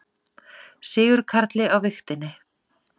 Sigurkarli á vigtinni.